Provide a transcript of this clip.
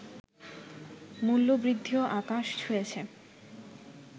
মূল্যবৃদ্ধিও আকাশ ছুঁয়েছে